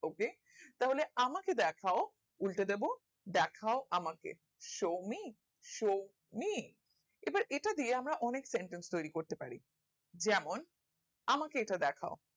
হবে তাহলে আমাকে দেখাও উল্টে দেব দেখাও আমাকে show me show me এটা দিয়ে আমরা অনেক sentence তৌরি করতে পারি যেমন আমাকে এটা দেখাও